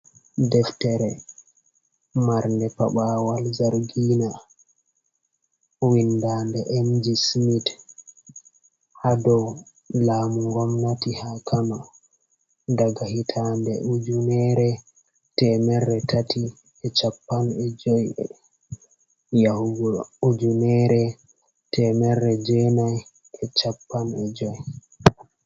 Deftere marnde paɓawal zargina, windande emji smit hadow lamu gomnati ha kano, daga hitande ujunere temerre tati, e cappan e joi yahugo ujunere temmere jenai e cappan e joi.